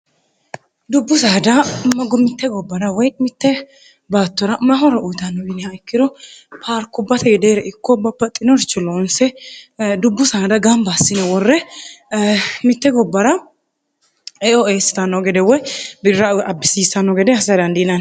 dubbu saada maggu mitte gobbara woy mitte baattora mahora uyitanno biiniha ikkiro paarkubbate yedeere ikkoobba paxxinorcho loonse dubbu saada gamba assine worre mitte gobbara eoestanno gede woy birra abbisiissanno gede hasarandiinan